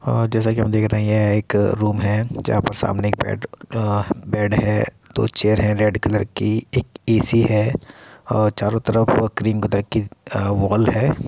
आ जेसे की हम देख रहे है यह एक रूम है जहाँ पर सामने एक बेड अ बेड है | सामने दो चेयर है | रेड कलर की एक ए.सी. है और चारो तरफ क्रीम कलर की वॉल है ।